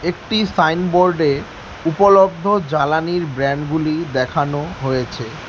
সাইনবোর্ডে উপলব্ধ জ্বালানির ব্র্যান্ডগুলি দেখানো হয়েছে।